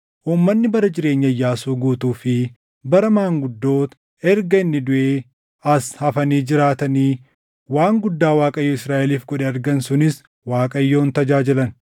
Uummanni bara jireenya Iyyaasuu guutuu fi bara maanguddoota erga inni duʼee as hafanii jiraatanii waan guddaa Waaqayyo Israaʼeliif godhe argan sunis Waaqayyoon tajaajilan.